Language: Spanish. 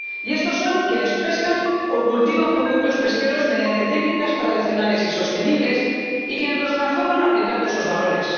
Y estos son quienes pescan o cultivan productos pesqueros mediante técnicas tradicionales y sostenibles y quienes los transforman aplicando esos valores